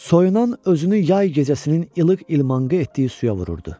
Soyunan özünü yay gecəsinin ilıq ilmanqə etdiyi suya vurdu.